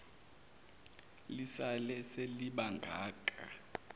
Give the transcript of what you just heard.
lisale seliba ngaka